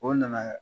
O nana